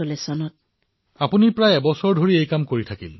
অৰ্থাৎ মুঠ আপুনি এবছৰ ধৰি এনেদৰে কাম কৰি আহিছে